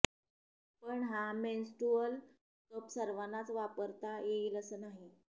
पण हा menstrual cup सर्वांनाच वापरता येईल असं नाही